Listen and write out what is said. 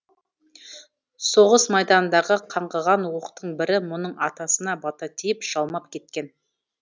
соғыс майданындағы қаңғыған оқтың бірі мұның атасына бата тиіп жалмап кеткен